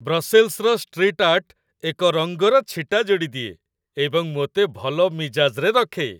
ବ୍ରସେଲ୍ସର street art ଏକ ରଙ୍ଗର ଛିଟା ଯୋଡ଼ିଦିଏ ଏବଂ ମୋତେ ଭଲ ମିଜାଜ୍ରେ ରଖେ।